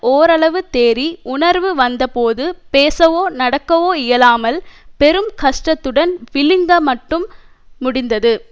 ஓரளவு தேறி உணர்வு வந்தபோது பேசவோ நடக்கவோ இயலாமல் பெரும் கஷ்டத்துடன் விழுங்க மட்டும் முடிந்தது